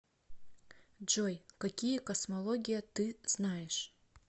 джой какие космология ты знаешь